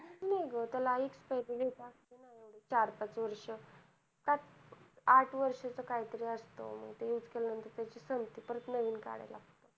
नाही गं त्याला expiry date असते ना. चार पाच वर्ष. सात आठ वर्षाचं काहीतरी असंत, ते use केल्यानंतर त्याची संपते. परत नवीन काढायला लागतं.